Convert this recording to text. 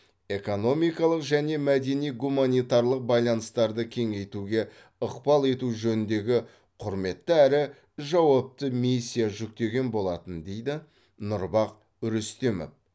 экономикалық және мәдени гуманитарлық байланыстарды кеңейтуге ықпал ету жөніндегі құрметті әрі жауапты миссия жүктеген болатын дейді нұрбах рүстемов